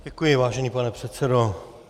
Děkuji, vážený pane předsedo.